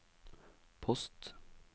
post